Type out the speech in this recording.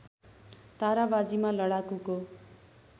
तरवारबाजीमा लडाकुको